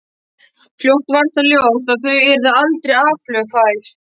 Fljótt varð það ljóst að þau yrðu aldrei aflögufær.